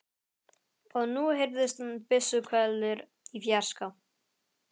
Og nú heyrðust byssuhvellir í fjarska.